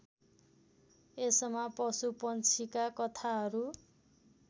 यसमा पशुपंछीका कथाहरू